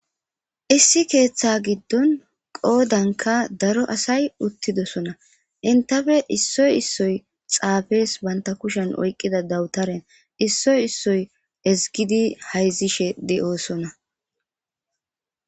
issi keeththa giddon qoodanka daro asay uttidosona intafe issoy issoy xaafees banta kushen oyqqida dawutaren issoy issoy ezgidi hayzishe de'oosona